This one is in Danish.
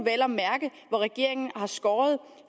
hvor regeringen har skåret